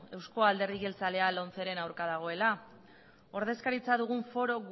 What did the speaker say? eusko alderdi jeltzalea lomceren kontra dagoela ordezkaritza dugun foru